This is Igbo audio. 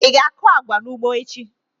Ị ga-akụ agwa n'ugbo echi!